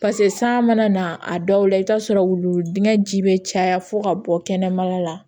pase san mana na a dɔw la i bi t'a sɔrɔ wulu dingɛ ji be caya fo ka bɔ kɛnɛmala la